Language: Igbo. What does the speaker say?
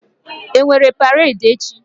E nwere paredi echi?